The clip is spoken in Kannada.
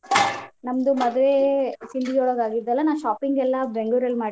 ನಂದು ಮದ್ವೆ ಸಿಂಧಗಿ ಒಳಗ್ ಆಗಿದ್ದಲಾ ನಾ shopping ಎಲ್ಲಾ ಬೆಂಗ್ಳುರಲ್ಲಿ ಮಾಡಿದ್ದೆ.